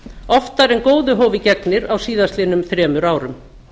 oftar en góðu hófi gegnir á á síðastliðnum þremur árum